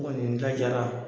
N kɔni n ta jara